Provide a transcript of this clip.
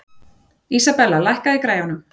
Isabella, lækkaðu í græjunum.